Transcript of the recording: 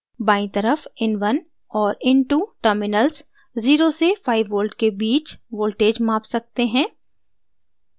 बायीं तरफ in1 और in2 terminals 0 से 5v के बीच voltage माप सकते हैं